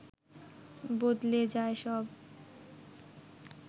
বদলে যায় সব